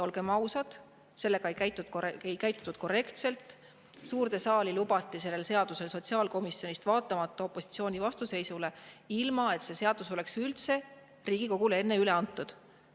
Olgem ausad, sellega ei käitutud korrektselt, suurde saali lubati see sotsiaalkomisjonist, vaatamata opositsiooni vastuseisule, ilma et see oleks üldse Riigikogule enne üle antud.